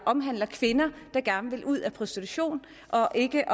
omhandler kvinder der gerne vil ud af prostitution og ikke